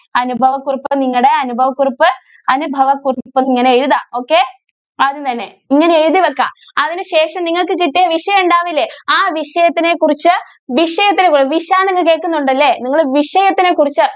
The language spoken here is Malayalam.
അനുഭവ കുറിപ്പ് നിങ്ങളുടെ അനുഭവ കുറിപ്പ് അനുഭവ കുറിപ്പ് എന്നുള്ളത് ഇങ്ങനെ എഴുതാം okay ആദ്യം തന്നെ. ഇങ്ങനെ എഴുതി വെക്കാം. അതിനു ശേഷം നിങ്ങൾക്ക് കിട്ടിയ വിഷയം ഉണ്ടാകില്ലേ ആ വിഷയത്തിനെ കുറിച്ച് വിഷയത്തിനെ എന്ന് കേൾക്കുന്നുണ്ടല്ലോ അല്ലേ? നിങ്ങൾ വിഷയത്തിനെ കുറിച്ച്